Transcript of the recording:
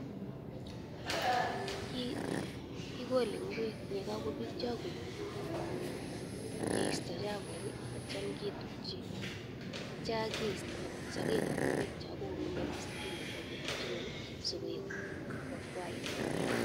Kikole ngwek ye kakipitya koik tumndo keista chapuk atyam kitutchi atya keista sokek ap ingwek cha kongemakis kemeto kuputchi ing'weny si koakwait mbaret.